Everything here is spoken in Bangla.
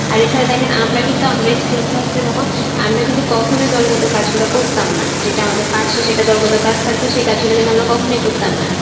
আরে ছাড়া দেখেন আমরা কিন্তু আমরাই স্কুল ছাত্রী যখন আমরা কিন্তু কখনোই দলগত কাজগুলো করতাম না। যেটা আমাদের পার্শ্বে যে দলগত কাজগুলো থাকতো সেই কাজগুলো কিন্তু আমরা কখনোই করতাম না